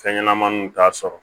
Fɛn ɲɛnɛmaninw t'a sɔrɔ